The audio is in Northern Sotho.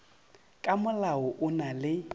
ka molao o na le